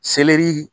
Selɛri